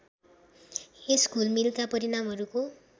यस घुलमिलका परिणामहरूको